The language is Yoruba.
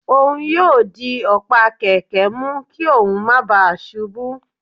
òun yóò dì ọ̀pá kẹkẹ mú kí óún má ​​bàa ṣubú